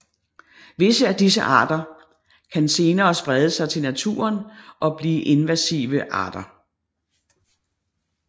Visse af disse arter kan senere sprede sig til naturen og blive invasive arter